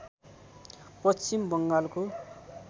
पश्चिम बङ्गालको